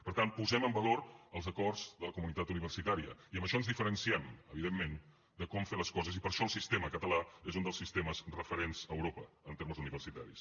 per tant posem en valor els acords de la comunitat universitària i amb això ens diferenciem evidentment de com fer les coses i per això el sistema català és un dels sistemes referents a europa en termes universitaris